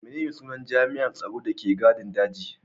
Menene sunan jami'an tsaron da ke gadin dajin?